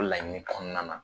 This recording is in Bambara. O laɲini kɔnɔna na